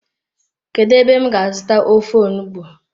Kedu ebe m ga azuta ofe onugbu?